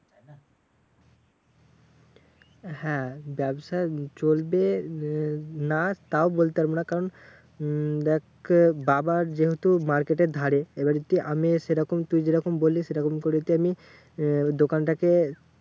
হ্যাঁ ব্যাবসা চলবে না তাও বলতে পারবো না কারণ উহ দেখ বাবার যেহেতু market এর ধারে এবার একটু আমি সেরকম তুই যেরকম করে যদি আমি আহ দোকানটাকে